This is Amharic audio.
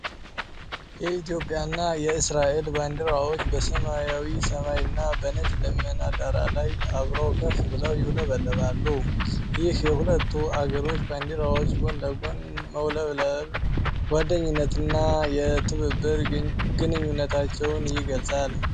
የኢትዮጵያና የእስራኤል ባንዲራዎች በሰማያዊ ሰማይና በነጭ ደመና ዳራ ላይ አብረው ከፍ ብለው ይውለበለባሉ። ይህ የሁለቱ አገሮች ባንዲራዎች ጎን ለጎን መውለብለብ የጓደኝነትና የትብብር ግንኙነታቸውን ይገልጻል።